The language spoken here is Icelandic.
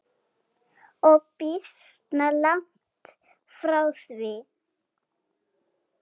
Og býsna langt frá því.